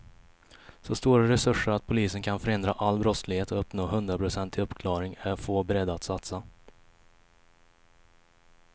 Så stora resurser att polisen kan förhindra all brottslighet och uppnå hundraprocentig uppklarning är få beredda att satsa.